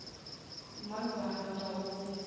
mang yo a ratago go